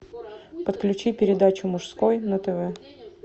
подключи передачу мужской на тв